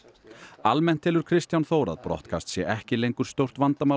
almennt telur Kristján Þór að brottkast sé ekki lengur stórt vandamál á